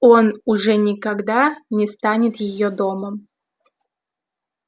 он уже никогда не станет её домом